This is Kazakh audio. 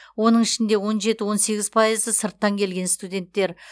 оның ішінде он жеті он сегіз пайызы сырттан келген студенттер